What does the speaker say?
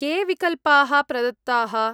के विकल्पाः प्रदत्ताः?